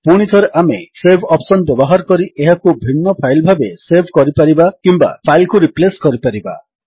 ପୁଣିଥରେ ଆମେ save option ବ୍ୟବହାର କରି ଏହାକୁ ଭିନ୍ନ ଫାଇଲ୍ ଭାବରେ ସେଭ୍ କରିପାରିବା କିମ୍ୱା ଫାଇଲ୍ କୁ ରିପ୍ଲେସ୍ କରିପାରିବା